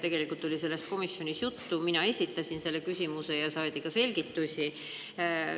Tegelikult oli sellest komisjonis juttu, mina esitasin selle küsimuse ja sain ka selgituse.